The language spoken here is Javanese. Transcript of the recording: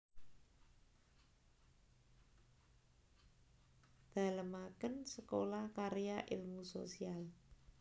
Dalemaken Sekolah Karya Ilmu Sosial